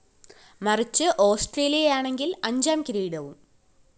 മറിച്ച് ഓസ്‌ട്രേലിയയാണെങ്കില്‍ അഞ്ചാം കിരീടവും